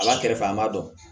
A b'a kɛrɛfɛ an b'a dɔn